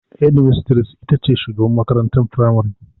Hedimistres ita ce shugabar makarantar firamare.